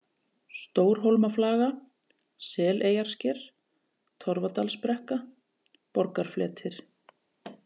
Stórhólmaflaga, Seleyjarsker, Torfadalsbrekka, Borgarfletir